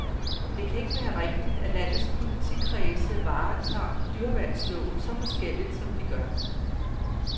Det kan ikke være rigtigt, at landets politikredse varetager dyreværnsloven så forskelligt, som de gør.